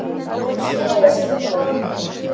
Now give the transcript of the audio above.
Hann styður sig við borðið.